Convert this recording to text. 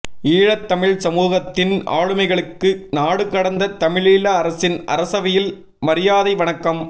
ஈழத்தமிழ் சமூகத்தின் ஆளுமைகளுக்கு நாடுகடந்த தமிழீழ அரசின் அரசவையில் மரியாதை வணக்கம்